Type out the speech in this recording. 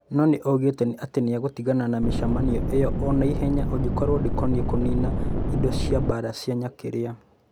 No nĩ oigĩte atĩ nĩ egũtigana na mĩcemanio ĩyo o na ihenya angĩkorũo ndĩkoniĩ kũniina indo cia mbaara cia nyuklia.